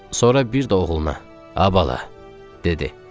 Sonra bir də oğluna, a bala, dedi.